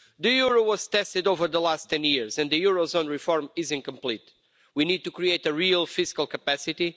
The euro was tested over the last 10 years and the eurozone reform is incomplete. We need to create a real fiscal capacity.